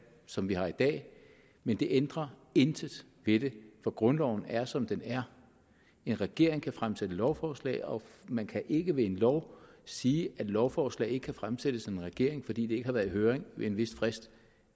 som vi har i dag men det ændrer intet ved det for grundloven er som den er en regering kan fremsætte lovforslag og man kan ikke ved en lov sige at lovforslag ikke kan fremsættes af en regering fordi de ikke har været i høring med en vis frist